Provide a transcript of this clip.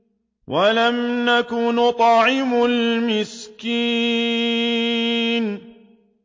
وَلَمْ نَكُ نُطْعِمُ الْمِسْكِينَ